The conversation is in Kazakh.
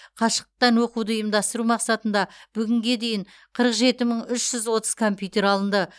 қашықтықтан оқуды ұйымдастыру мақсатында бүгінге дейін қырық жеті мың үш жүз отыз компьютер алынды